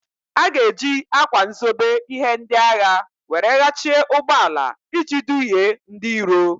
A ga-eji ákwà nzobe ihe ndị agha were ghachie ụgbọala iji dughie ndị iro.